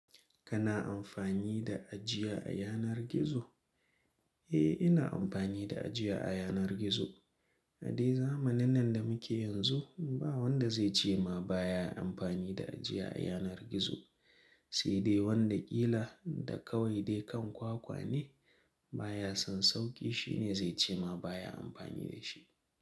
Kana amfani da ajiya a yanar gizo? Eh, ina amfani da ajiya a yanar gizo. A dai zamanin nan da muke yanzu ba wanda zai ce ma baya amfani da ajiya a yanar gizo. Sai dai wanda ƙila da kawai dai kan kwakwa ne baya son sauƙi, shi ne zai ce ma baya amfani da shi.